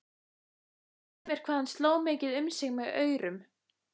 Sumir hvað hann sló mikið um sig með aurum.